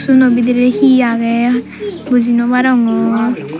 siguno bidirey hi agey buji noarongor.